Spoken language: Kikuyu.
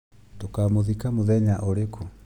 Tũkamũthika mũthenya ũrĩkũ